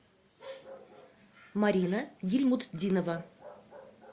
марина гильмутдинова